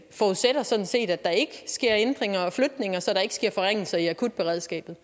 forudsætter sådan set at der ikke sker ændringer og flytninger så der ikke sker forringelser i akutberedskabet